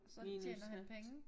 Minus hat